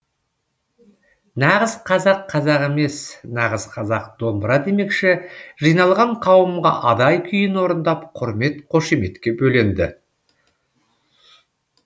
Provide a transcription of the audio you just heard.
нағыз қазақ қазақ емес нағыз қазақ домбыра демекші жиналған қауымға адай күйін орындап құрмет қошеметке бөленді